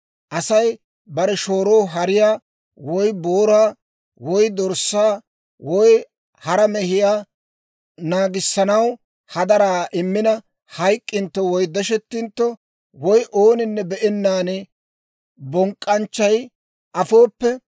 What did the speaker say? «Asay bare shooroo hariyaa, woy booraa, woy dorssaa, woy hara mehiyaa naagissanaw hadaraa immina hayk'k'intto, woy deshettintto, woy ooninne be'ennaan bonk'k'anchchay afooppe,